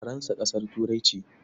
Faransa ƙasar Turai ce.